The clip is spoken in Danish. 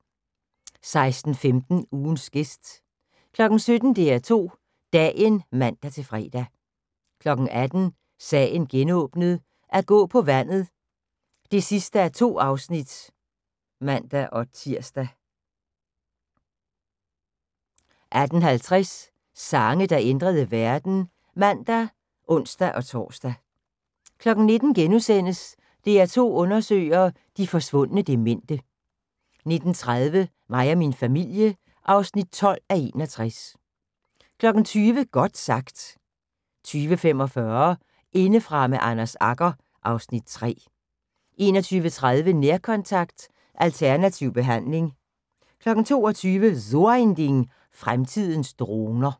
16:15: Ugens gæst 17:00: DR2 Dagen (man-fre) 18:00: Sagen genåbnet: At gå på vandet (2:2)(man-tir) 18:50: Sange, der ændrede verden (man og ons-tor) 19:00: DR2 undersøger – de forsvundne demente * 19:30: Mig og min familie (12:61) 20:00: Godt sagt 20:45: Indefra med Anders Agger (Afs. 3) 21:30: Nærkontakt – Alternativ behandling 22:00: So ein Ding: Fremtidens droner